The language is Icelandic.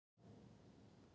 Lóðin yrði því ansi dýr.